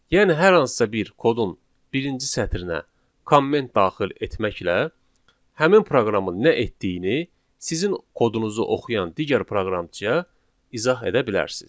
Yəni hər hansısa bir kodun birinci sətrinə komment daxil etməklə həmin proqramın nə etdiyini sizin kodunuzu oxuyan digər proqramçıya izah edə bilərsiniz.